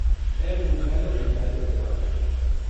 એમ મૂંઝાયેલો મૂંઝાયેલો રહેવા લાગ્યો.